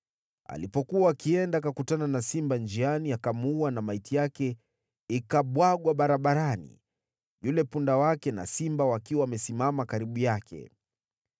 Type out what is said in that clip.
Alipokuwa akienda akakutana na simba njiani, akamuua na maiti yake ikabwagwa barabarani, yule punda wake na simba wakiwa wamesimama karibu yake.